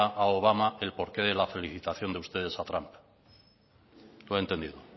a obama el porqué de la felicitación de ustedes a trump lo he entendido